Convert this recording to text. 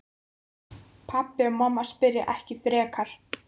Pabbi og mamma spyrja ekki frekar.